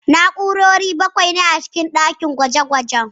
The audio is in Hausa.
Na'urori bakwai ne a cikin ɗakin gwaje-gwajen